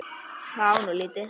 Það var nú lítið!